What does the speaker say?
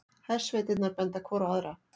Hersveitirnar benda hvor á aðra